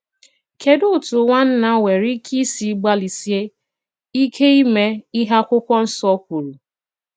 Kèdù òtù nwànnà nwere ìkè ìsì gbàlịsìè ìkè ìmè ìhé akwụ̀kwọ̀ Nsò k̀wùrù?